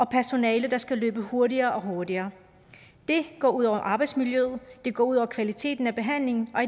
personale der skal løbe hurtigere og hurtigere det går ud over arbejdsmiljøet det går ud over kvaliteten af behandlingen og